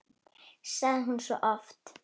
sagði hún svo oft.